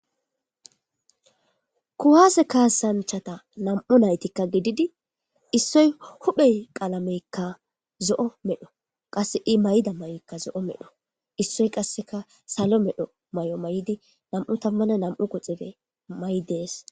kuwaase kaasanchata nam7u naytikka gididi issoy huphey qalameykka zo7o medho qasse i mayda may7oykka zo7o medho issoy qasseka salo medho may7o may7di nam7u tammana nam7u quxife may7i dees.